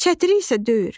Çətiri isə döyür.